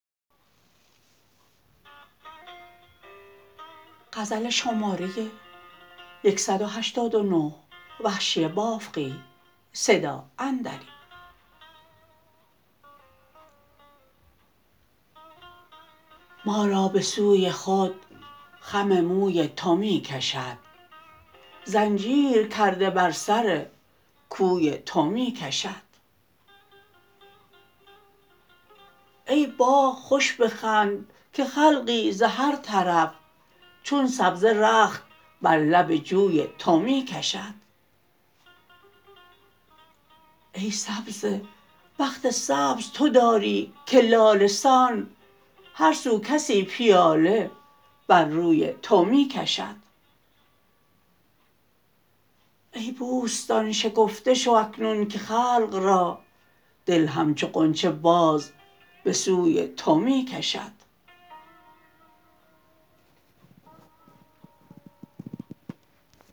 ما را به سوی خود خم موی تو می کشد زنجیر کرده بر سر کوی تو می کشد ای باغ خوش بخند که خلقی ز هر طرف چون سبزه رخت بر لب جوی تو می کشد ای سبزه بخت سبز تو داری که لاله سان هر سو کسی پیاله بر روی تو می کشد ای بوستان شکفته شو اکنون که خلق را دل همچو غنچه باز به سوی تو می کشد